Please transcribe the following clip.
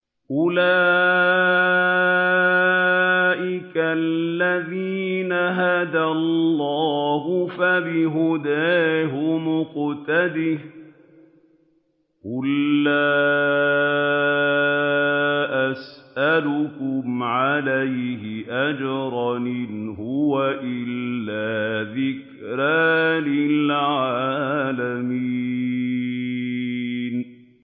أُولَٰئِكَ الَّذِينَ هَدَى اللَّهُ ۖ فَبِهُدَاهُمُ اقْتَدِهْ ۗ قُل لَّا أَسْأَلُكُمْ عَلَيْهِ أَجْرًا ۖ إِنْ هُوَ إِلَّا ذِكْرَىٰ لِلْعَالَمِينَ